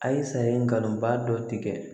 A ye sariya dɔ tigɛ